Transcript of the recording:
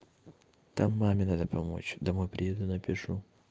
там маме надо помочь домой приеду напишу